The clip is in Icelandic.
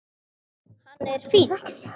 Hann er fínn.